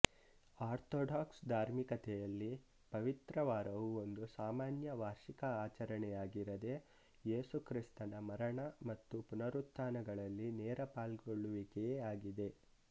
orthodox ಧಾರ್ಮಿಕತೆಯಲ್ಲಿ ಪವಿತ್ರವಾರವು ಒಂದು ಸಾಮಾನ್ಯ ವಾರ್ಷಿಕ ಆಚರಣೆಯಾಗಿರದೇ ಯೇಸುಕ್ರಿಸ್ತನ ಮರಣ ಮತ್ತು ಪುನರುತ್ಥಾನಗಳಲ್ಲಿ ನೇರ ಪಾಲ್ಗೊಳ್ಳುವಿಕೆಯೇ ಆಗಿದೆ